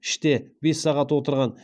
іште бес сағат отырған